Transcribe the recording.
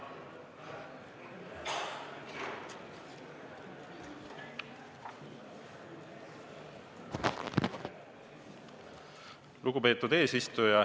Lugupeetud eesistuja!